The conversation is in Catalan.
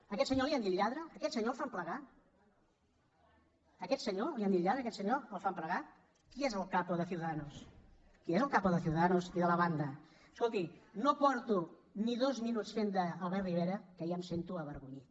a aquest senyor li han dit lladre a aquest senyor el fan plegar a aquest senyor li han dit lladre a aquest senyor el fan plegar qui és el capo de ciudadanos qui és el capo de ciudadanos i de la banda escolti no fa ni dos minuts que faig d’albert rivera que ja em sento avergonyit